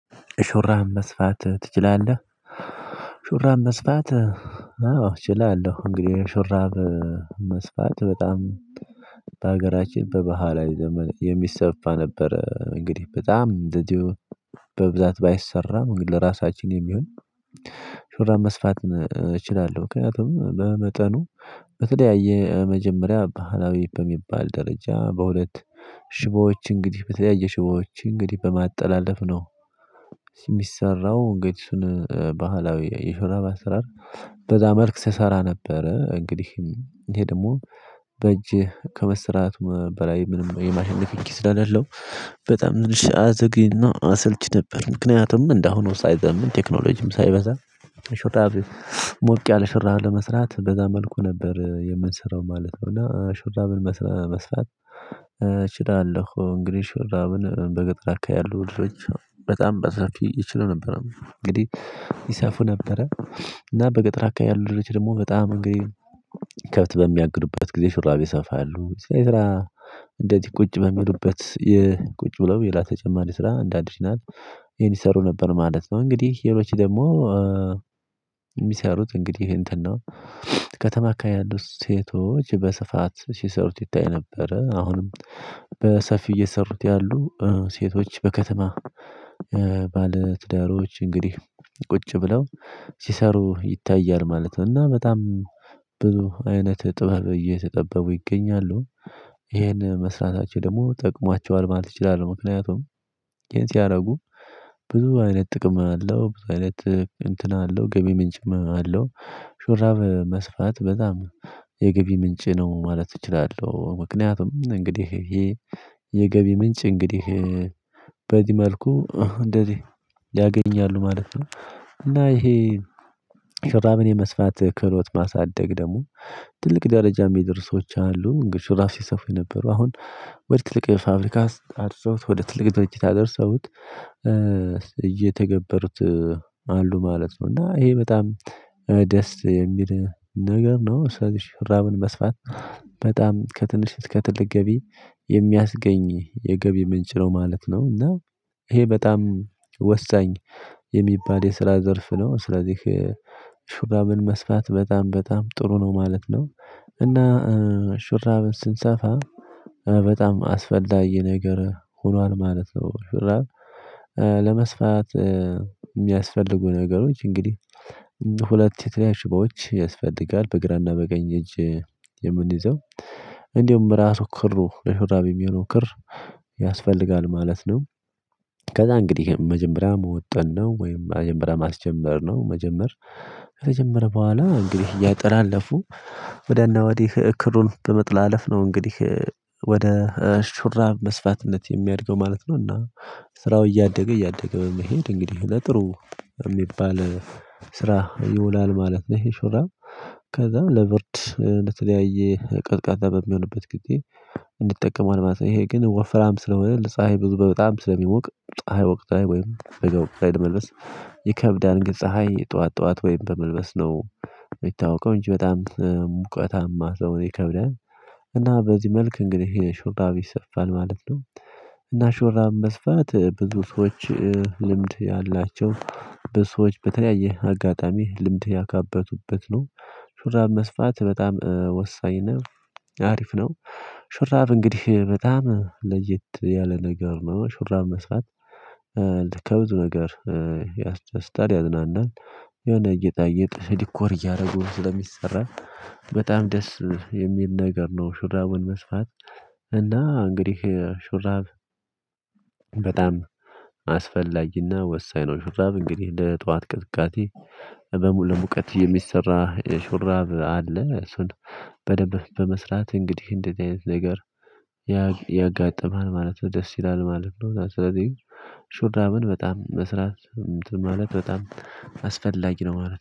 ሹራብ መስፋት ትችላለህ ሹራብ መስፋት አዎ እችላለሁ። እንግዲህ ሹራብ መስፋት በጣም በሀገራችን በባህላዊ ዘመን የሚሰፋ ነበር እንግዲህ በጣም እንደዚሁ በብዛት ባይሰራም እንግዲህ ለራሳችን የሚሆን ሹራብ መስፋት እችላለሁ። ምክንያቱም በመጠኑ በተለያየ የመጀመሪያ ባህላዊ በሚባል ደረጃ በሁለት ሽቦዎች እንግዲህ በተለያየ ሽቦዎች እንግዲህ በማጠላለፍ ነው የሚሰራው እንግዲህ እሱን ባህላዊ የሹራብ አሰራር በዛ መልክ ስሰራ ነበረ። እንግዲህ ይሄ ደግሞ በእጅህ ከመስራት በላይ ምንም የማሽን ንኪኪ ስለለው በጣም ንልሽ አዘግይና አሰልቺ ነበር። ምክንያቱም እንዳሁኑ ሳይዘምን ቴክኖሎጂም ሳይበዛ ሾራብ ሞቅ ያለ ሹራብ ለመስራት በዛ መልኩ ነበር የምንሰራው ማለት ነው። እና ሹራብን መስራት እችላለሁ። እንግዲህ ሹራብን በገጠር አካባቢ ያሉ ልጆች በጣም በሰፊ ይችሉ ነበር እንግዲህ ይሰፉ ነበረ። እና በገጠር አካባቢ ያሉት ልጆች ደግሞ በጣም እንግዲህ ከብት በሚያግዱበት ጊዜ ሹራቤጅብ ይሰፋሉ ስራ እንደዚህ ቁጭ በሚሉበት ቁጭ ብለው ሌላ ተጨማሪ ተጨማሪ ስራ እንደ አዲሽናል ይሄን ይሰሩ ነበር ማለት ነው። እንግዲህ ሌሎች ደግሞ የሚሰሩት እንግዲህ እንትን ነው ከተማ ከተማ አካባቢ ያለው ሴቶች በስፋት ሲሰሩት ይታይ ነበረ። አሁንም በሰፊው እየሰሩት ያሉ ሴቶች በከተማ ባለትዳሮች እንግዲህ ቁጭ ብለው ሲሰሩ ይታያል ማለት ነው። እና በጣም ብዙ አይነት ጥበብ እየተጠበቡ ይገኛሉ ይሄን መስራታቸው ደግሞ ጠቅሟቸዋል ማለት ይችላሉ። ምክንያቱም ይህን ሲያደርጉ ብዙ አይነት ጥቅም አለው ብዙ አይነት እንትን አለው ገቢ ምንጭም አለው። ሹራብ መስፋት በጣም የገቢ ምንጭ ነው ማለት እችላለሁ ምክንያቱም እንግዲህ የገቢ ምንጭ እንግዲህ በዚህ መልኩ እንደዚህ ያገኛሉ ማለት ነው። እና ይሄ ሹራብን የመስፋት ክህሎት ማሳደግ ደግሞ ትልቅ ደረጃ የሚደርሱ ሰዎች አሉ። እንግዲህ ሹራብ ሲሰፉ የነበሩ አሁን ወደ ትልቅ ፋብሪካ አድርሰውት ወደ ትልቅ ደረጃ አድርሰውት እየተገበሩት አሉ ማለት ነው። እና ይሄ በጣም ደስ የሚል ነገር ነው ሰው ልጅ ሹራብን መስፋት። በጣም ከትንሽ ከትልቅ ገቢ የሚያስገኝ የገቢ ምንጭ ነው ማለት ነው። እና ይሄ በጣም ወሳኝ የሚባል የስራ ዘርፍ ነው። ስለዚህ ሹራብን መስፋት በጣም በጣም ጥሩ ነው ማለት ነው። እና ሹራብን ስንሰፋ በጣም አስፈላጊ ነገር ሆኗል ማለት ነው። ሹራብ ለመስፋት የሚያስፈልጉ ነገሮች እንግዲህ ሁለት የተለያዩ ሽቦዎች ያስፈልጋል በግራና በቀኝ እጅ የምንይዘው እንዲሁም እራሱ ክሩ ለሹራብ የሚሆነው ክር ያስፈልጋል ማለት ነው። ከዛ እንግዲህ መጀመሪያ መወጠን ነው ወይም መጀመሪያ ማስጀመር ነው መጀመር ከተጀመረ በኋላ እንግዲህ እያጠላለፉ ወዲያ እና ወዲህ ክሩን በመጥላለፍ ነው እንግዲህ ወደ ሹራብ መስፋትነት የሚያድገው ማለት ነው። እና ስራው እያደገ እያደገ በመሄድ እንግዲህ ለጥሩ በሚባል ስራ ይውላል ማለት ነው። ይሄ ሹራብ ከዛም ለብርድ ለተለያየ ቀዝቃዛ በሚሆንበት ጊዜ እንጠቀማዋለን ማለት ነው። ይሄ ግን ወፍራም ስለሆነ ለፀሀይ ብዙ በጣም ስለሚሞቅ ፀሀይ ወቅት ላይ ወይም ወይ ላይ ለመልበስ ይከብዳል ግን ፀሀይ ጠዋት ጠዋት ወይም በመልበስ ነው የሚታወቀው እንጂ በጣም ሙቀታማ ሰው ይከብዳል እና በዚህ መልክ እንግዲህ ይሄ ሹራብ ይሰፋል ማለት ነው። እና ሹራብ መስፋት ብዙ ሰዎች ልምድ ያላቸው በሰዎች በተለያየ አጋጣሚ ልምድ ያከበቱበት ነው። ሹራብ መስፋት በጣም ወሳኝ ነው ሀሪፍ ነው። ሹራብ እንግዲህ በጣም ለየት ያለ ነገር ነው። ሹራብ መስራት ከብዙ ነገር ያስደስታል ያዝናናል የሆነ እይታ እይት ዲኮር እያደረጉ ስለሚሰራ በጣም ደስ የሚል ነገር ነው። ሹራብን መስፋት። እና እንግዲህ ሹራብ በጣም አስፈላጊ እና ወሳኝ ነው። ሹራብ እንግዲህ ለጠዋት ቅዝቃዜ ለሙቀት የሚሰራ ሹራብ አለ እሱን በደንብ በመስራት እንግዲህ እንደዚህ አይነት ነገር ያጋጥማል ማለት ነው። ደስ ይላል ማለት ነው። ስለዚህ ሹራብን በጣም መስራት ማለት በጣም አስፈላጊ ነው ማለት ነው